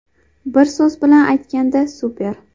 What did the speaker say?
Bir so‘z bilan aytganda super.